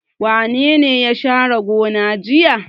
Wane ne ya share gona jiya?